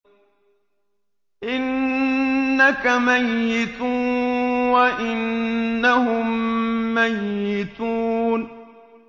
إِنَّكَ مَيِّتٌ وَإِنَّهُم مَّيِّتُونَ